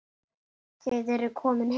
Þið eruð komin heim.